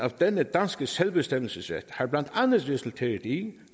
af denne danske selvbestemmelsesret har blandt andet resulteret i